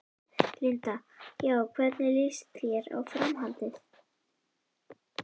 Linda: Já, hvernig lýst þér á framhaldið?